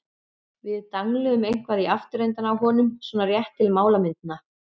Við dangluðum eitthvað í afturendann á honum- svona rétt til málamynda.